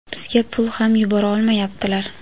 bizga pul ham yubora olmayaptilar.